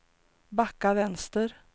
backa vänster